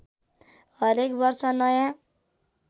हरेक वर्ष नयाँ